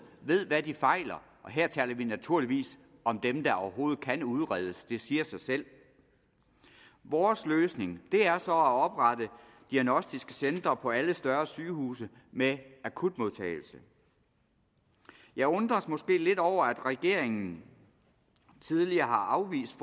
ved hvad de fejler og her taler vi naturligvis om dem der overhovedet kan udredes det siger sig selv vores løsning er så at oprette diagnostiske centre på alle større sygehuse med akutmodtagelse jeg undres måske lidt over at regeringen tidligere har afvist